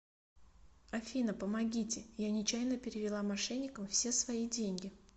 афина помогите я нечаянно перевела мошенникам все свои деньги